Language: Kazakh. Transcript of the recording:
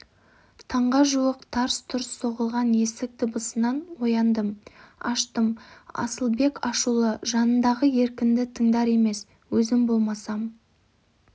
таңға жуық тарс-тұрс соғылған есік дыбысынан ояндым аштым асылбек ашулы жанындағы еркінді тыңдар емес өзім болмасам